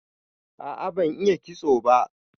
A'a ban iya kitso ba.